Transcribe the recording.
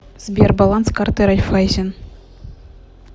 сбер баланс карты райффайзен